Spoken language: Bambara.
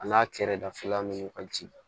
A n'a kɛrɛda fila ni kɔji